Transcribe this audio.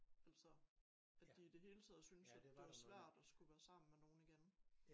Altså at de i det hele taget synes at det var svært at skulle være sammen med nogen igen